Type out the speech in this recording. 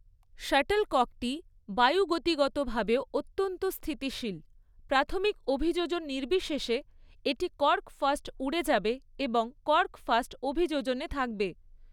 শাটলককটি বায়ুগতিগতভাবেও অত্যন্ত স্থিতিশীল, প্রাথমিক অভিযোজন নির্বিশেষে, এটি কর্ক ফার্স্ট উড়ে যাবে এবং কর্ক ফার্স্ট অভিযোজনে থাকবে।